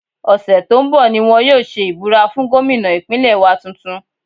Ọ̀sẹ̀ tó ń bọ̀ ni wọ́n yóò ṣe ìbúra fún gómìnà Ìpínlẹ̀ wa tuntun